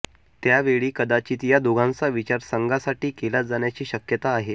त्यावेळी कदाचित या दोघांचा विचार संघासाठी केला जाण्याची शक्यता आहे